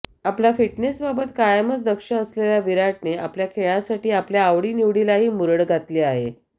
आपला फिटनेसबाबत कायमच दक्ष असलेल्या विराटने आपल्या खेळासाठी आपल्या आवडी निवडीलाही मुरड घातली आहे